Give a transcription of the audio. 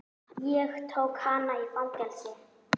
Ég tók hana í fangið.